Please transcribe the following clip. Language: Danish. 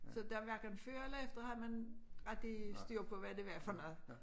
Så der hverken før eller efter har man rigtig styr på hvad det var for noget